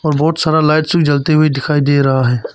बहुत सारा लाइट्स भी जलते हुए दिखाई दे रहा है।